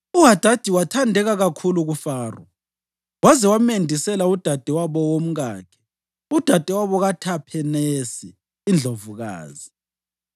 UHadadi wathandeka kakhulu kuFaro, waze wamendisela udadewabo womkakhe, udadewabo kaThaphenesi iNdlovukazi.